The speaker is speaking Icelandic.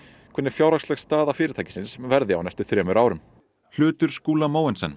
hvernig fjárhagsleg staða fyrirtæksins verði á næstu þremur árum hlutur Skúla Mogensen